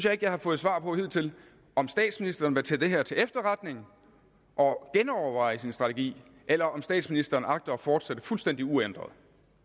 at jeg har fået svar på hidtil om statsministeren vil tage det her til efterretning og genoverveje sin strategi eller om statsministeren agter at fortsætte fuldstændig uændret